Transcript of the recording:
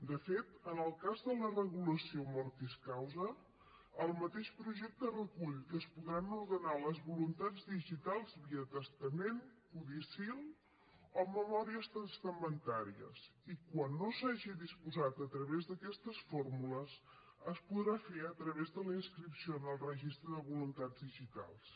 de fet en el cas de la regulació mortis causa el mateix projecte recull que es podran ordenar les voluntats digitals via testament codicil o memòries testamentàries i quan no s’hagi disposat a través d’aquestes fórmules es podrà fer a través de la inscripció en el registre de voluntats digitals